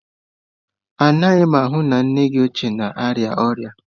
Ị naghị ahụ na nne gị ochie na-arịa ọrịa?